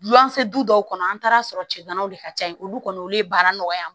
Wulafɛ du dɔw kɔnɔ an taara sɔrɔ cɛdanaw de ka ca yen olu kɔni olu ye baara nɔgɔya